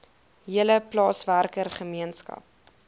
hele plaaswerker gemeenskap